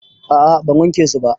A'a ban wanke su ba.